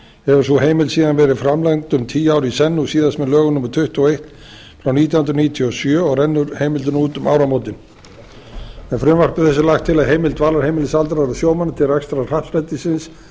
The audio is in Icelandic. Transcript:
hefur sú heimild verið framlengd um tíu ár í senn og síðast með lögum númer tuttugu og eitt nítján hundruð níutíu og sjö og rennur heimildin út um áramótin með frumvarpi þessu er lagt til að heimild dvalarheimilis aldraðra sjómanna til rekstrar happdrættisins